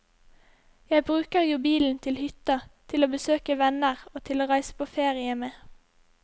Jeg bruker jo bilen til hytta, til å besøke venner og til å reise på ferie med.